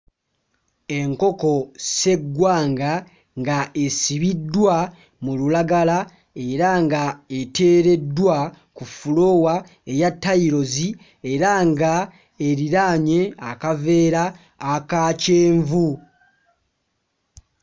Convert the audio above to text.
Enkoko sseggwanga nga esibiddwa mu lulagala era nga eteereddwa ku fuloowa eya tayiruzi era nga eriraanye akaveera aka kyenvu.